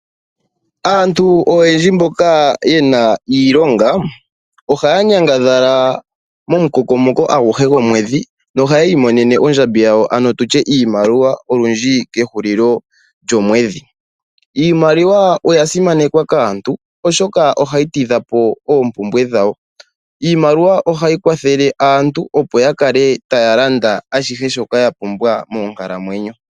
Aantu oyendji mboka yena iilonga, ohaanyangadhalaa momukokomoko aguhe gomwedhi nohayiimonene ondjambi yawo ano tutye iimaliwa olundji kehulilo lyomwedhi. Iimaliwa oyasimanekwa kaantu oshoka ohayitidhapo oompumbwe dhawo. Iimaliwa ohayi kwathele aantu opo yakale tayalanda ashihe shoka yapumbwa monkalamwenyo.